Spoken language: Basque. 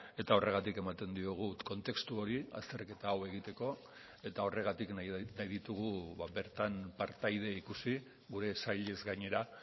eta horregatik ematen diogu kontestu hori azterketa hau egiteko eta horregatik nahi ditugu bertan partaide ikusi gure sailez gainera